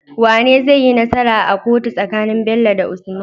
Wane zaiyi nasara a kotu tsakanin Bello da usman?